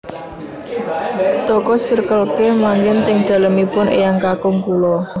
Toko Circle K manggen teng dalemipun eyang kakung kula